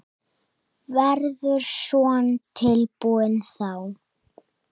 Verður Son tilbúinn þá?